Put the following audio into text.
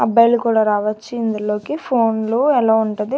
అబ్బాయిలు కూడా రావచ్చు ఇందులోకి ఫోన్లో అలో ఉంటది.